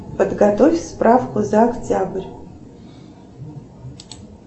подготовь справку за октябрь